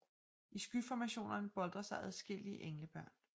I skyformationerne boltrer sig adskillige englebørn